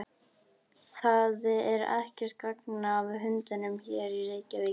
Það er ekkert gagn af hundunum hér í Reykjavík.